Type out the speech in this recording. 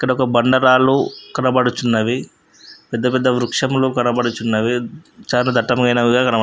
ఇక్కడొక బండ రాళ్ళు కనపడుచున్నవి. పెద్ద పెద్ద వృక్షములు కనపడుచున్నవి. చానా దట్టమైనవిగా కనపడు--